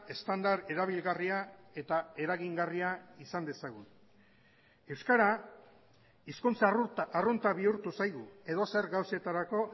estandar erabilgarria eta eragingarria izan dezagun euskara hizkuntza arrunta bihurtu zaigu edozer gauzetarako